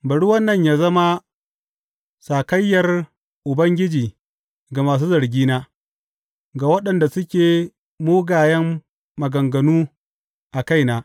Bari wannan yă zama sakayyar Ubangiji ga masu zargina, ga waɗanda suke mugayen maganganu a kaina.